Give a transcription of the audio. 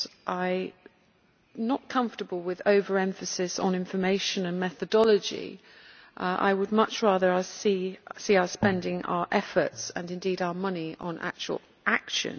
I am not comfortable with over emphasis on information and methodology I would much rather see us spending our efforts and indeed our money on actual action.